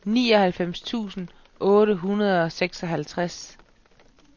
nioghalvfems tusind otte hundrede og seksoghalvtreds